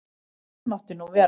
Fyrr mátti nú vera!